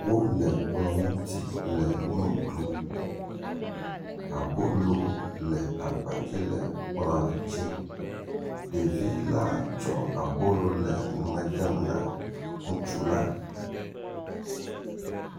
Wole kplɔ̃ ŋuti le nu ɖum. Abolo le agbadzi le kplɔ̃a dzi. Ɖevila tsɔ abolo le nume dem na ŋutsula.